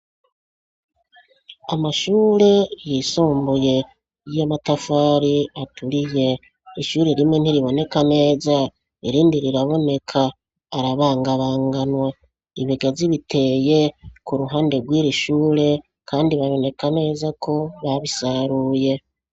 Kumashure yisumbuye y'amatafari aturiye ishure rimwe ntiriboneka neza irindi riraboneka arabangabanganwa, ibigazi biteye ku ruhande rw'irishure kandi baboneka neza ko babisaruye.